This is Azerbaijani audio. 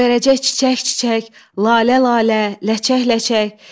Göyərəcək çiçək-çiçək, lalə-lalə, ləçək-ləçək.